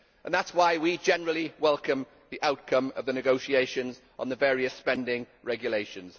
That is why we generally welcome the outcome of the negotiations on the various spending regulations.